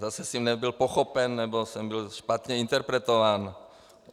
Zase jsem nebyl pochopen, nebo jsem byl špatně interpretován.